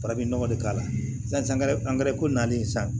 Farafinnɔgɔ de k'a la sangɛrɛ angɛrɛ ko nalen san